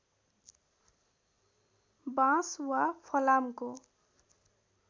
बाँस वा फलामको